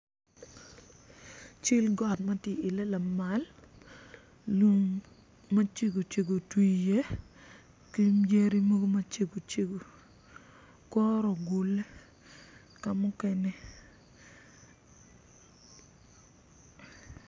Cal got matye oile lamal lum macego cego otwi i iye ki yadi mogo macego cego kore ogule kamukene